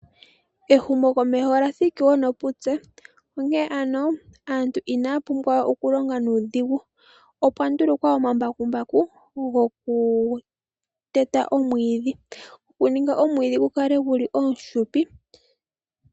Ehumokomeho lya thiki wo noputse onkene ano aantu inaya pumbwa okulonga nuudhigu , opwa ndulukwa omambakumbaku gokuteta omwiidhi , gokuninga omwiidhi gukale omufupi.